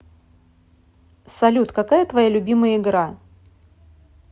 салют какая твоя любимая игра